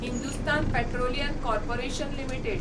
Hindustan petroleum corporation limited